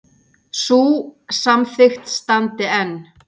Sú samþykkt standi enn.